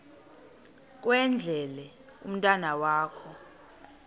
kwendele umntwana wakho